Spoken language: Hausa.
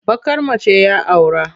Baƙar mace ya aura.